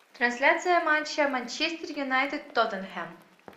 трансляция матча манчестер юнайтед тоттенхэм